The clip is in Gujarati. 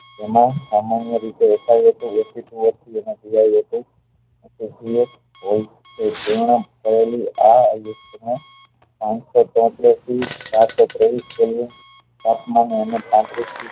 એમાં સામાન્ય રીતે એકા એકી વ્યક્તિ હોય છે પૂર્ણ થયેલી આં તાપમાન થી